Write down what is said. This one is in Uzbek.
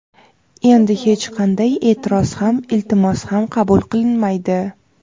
Endi hech qanday e’tiroz ham iltimos qabul qilinmaydi.